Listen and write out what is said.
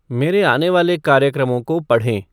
मेरे आने वाले कार्यक्रमओं को पढ़ें